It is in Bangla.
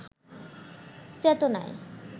চেতনায়